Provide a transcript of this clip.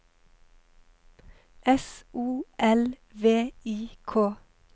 S O L V I K